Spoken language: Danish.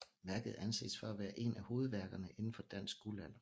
Værket anses for at være ét af hovedværkerne inden for dansk guldalder